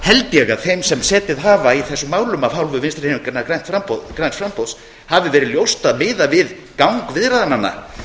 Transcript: held ég að þeim sem setið hafa í þessum málum af hálfu vinstri hreyfingarinnar græns framboðs hafi verið ljóst að miðað við gang viðræðnanna